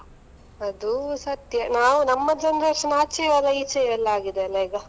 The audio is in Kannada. ಅದು ಸತ್ಯ. ನಾವ್~ ನಮ್ಮ generation ಆಚೆಯು ಅಲ್ಲಾ, ಈಚೆಯು ಅಲ್ಲಾ ಹಾಗೆ ಆಗಿದೆ ಅಲ್ಲಾಈಗ.